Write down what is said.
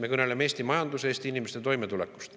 Me kõneleme Eesti majandusest ja Eesti inimeste toimetulekust.